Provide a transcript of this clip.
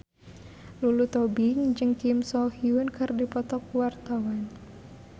Lulu Tobing jeung Kim So Hyun keur dipoto ku wartawan